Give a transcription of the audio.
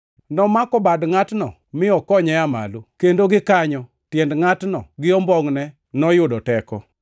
Nomako bad ngʼatno, mi okonye aa malo, kendo gikanyo tiend ngʼatno gi ombongʼne noyudo teko.